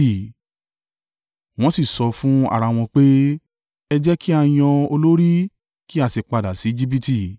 Wọ́n sì sọ fún ara wọn pé, “Ẹ jẹ́ kí á yan olórí kí á sì padà sí Ejibiti.”